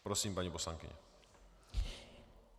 Prosím, paní poslankyně.